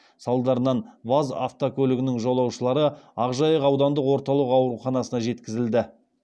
салдарынан ваз автокөлігінің жолаушылары ақжайық аудандық орталық ауруханасына жеткізілді